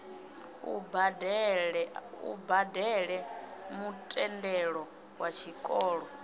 u badele mutendelo wa tshikolo